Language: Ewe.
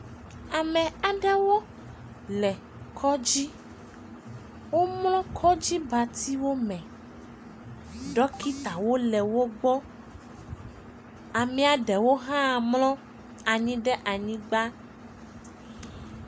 Ame aɖewo le Kɔdzi. Wò mlɔ kɔdzi ba dzi wò me. Ɖɔkita wole wò gbɔ. Ame ɖewo mlɔ anyi ɖe anyigba